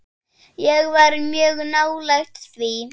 Ég var mjög nálægt því.